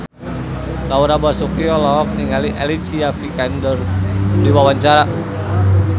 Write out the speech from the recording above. Laura Basuki olohok ningali Alicia Vikander keur diwawancara